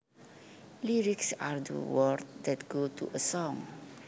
Lyrics are the words that go to a song